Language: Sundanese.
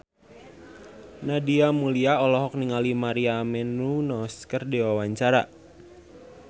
Nadia Mulya olohok ningali Maria Menounos keur diwawancara